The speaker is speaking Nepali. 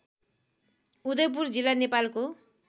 उदयपुर जिल्ला नेपालको